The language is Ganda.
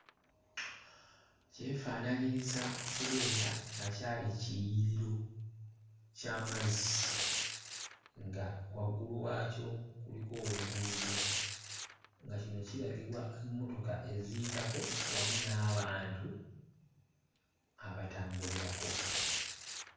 Kyefaananyiriza okubeera nga kyali kiyiriro eky'amazzi nga waggulu waakyo kuliko oluguudo nga kino kiragibwa emmotoka eziyitako wamu n'abantu abatambulirako.